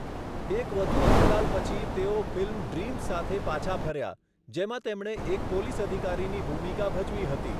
એક વધુ અંતરાલ પછી, તેઓ ફિલ્મ ડ્રીમ્સ સાથે પાછા ફર્યા, જેમાં તેમણે એક પોલીસ અધિકારીની ભૂમિકા ભજવી હતી.